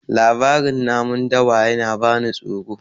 labarin namun dawa yana bani tsoro